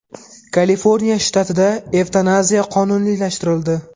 Kaliforniya shtatida evtanaziya qonuniylashtirildi.